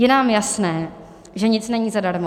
Je nám jasné, že nic není zadarmo.